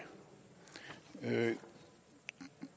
det